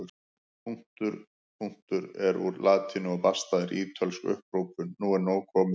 Punktum punktur er úr latínu og basta er ítölsk upphrópun nú er nóg komið!